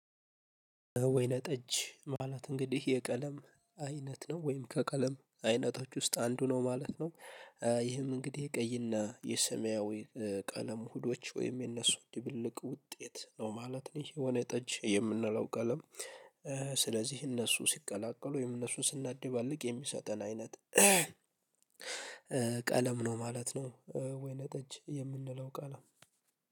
ወይነ ጠጅ ማለት እንግዲህ የቀለም አይነት ነው ወይም ከቀለም አይነቶች ውስጥ አንዱ ነው ማለት ነው። ይህም እንግዲህ የቀይና የሰማያዊ ቀለም ውህዶች ወይም የነሱ ድብልቅ ውጤት ነው ማለት ነው። ይሄ ወይነ ጠጅ የምንለው ቀለም። ስለዚህ እነሱ ሲቀላቀሉ ወይም እነሱን ስናደባልቅ የሚሰጠን አይነት ቀለም ነው ማለት ነው። ወይነ ጠጅ የምንለው ቃል